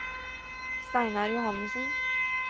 Steinar Johannesen